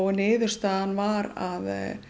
niðurstaðan var að